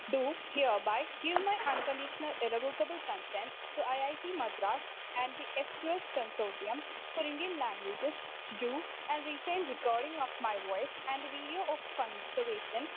speaker 2 do hear by give my unconditional irrevocable consent to I I T Madras and the എസ്റ്റുഎസ് consortium for Indian languages to do and retain recording of my voice and video of conservation